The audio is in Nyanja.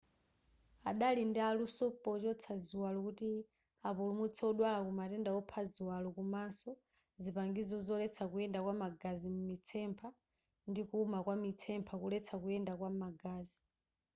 adali ndi aluso pochotsa ziwalo kuti apulumutse odwala kumatenda opha ziwalo komanso zipangizo zoletsa kuyenda kwa magazi m'mitsempha ndi kuwuma kwa mitsempha kuletsa kuyenda kwa magazi